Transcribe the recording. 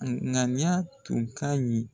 A ɲaniya tun ka ɲi.